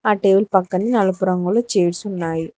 ఆ టేబుల్ పక్కనే నలుపు రంగులో చైర్స్ ఉన్నాయి.